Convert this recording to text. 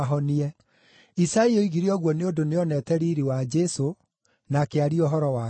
Isaia oigire ũguo nĩ ũndũ nĩooneete riiri wa Jesũ, na akĩaria ũhoro wake.